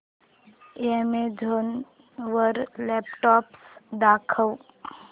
Amazon वर laptops दाखव